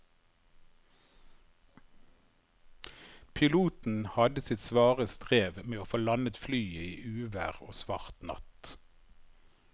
Piloten hadde sitt svare strev med å få landet flyet i uvær og svart natt.